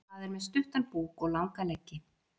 Það er með stuttan búk og langa leggi.